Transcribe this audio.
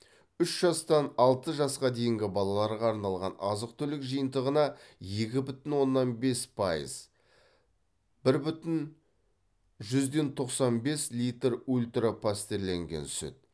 үш жастан алты жасқа дейінгі балаларға арналған азық түлік жиынтығына екі бүтін оннан бес пайыз бір бүтін жүзден тоқсан бес литр ультра пастерленген сүт